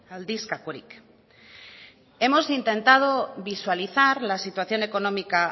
aldizkakorik hemos intentado visualizar la situación económica